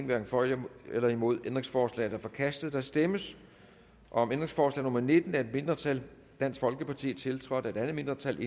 hverken for eller imod stemte ændringsforslaget er forkastet der stemmes om ændringsforslag nummer nitten af et mindretal tiltrådt af et mindretal